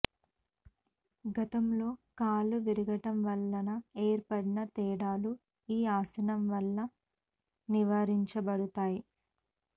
గతములో కాళ్లు విరగటం వలన ఏర్పడిన తేడాలు ఈ ఆసనం వల్ల నివారించబడతాయి